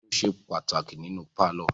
Fáànù ṣe pàtàkì nínú pálọ̀.